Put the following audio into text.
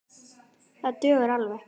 Það dugar alveg.